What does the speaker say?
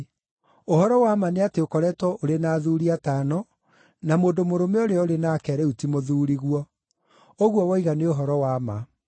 Ũhoro wa ma nĩ atĩ ũkoretwo ũrĩ na athuuri atano, na mũndũ mũrũme ũrĩa ũrĩ nake rĩu ti mũthuuriguo. Ũguo woiga nĩ ũhoro wa ma.”